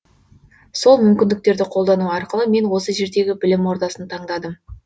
сол мүмкіндіктерді қолдану арқылы мен осы жердегі білім ордасын таңдадым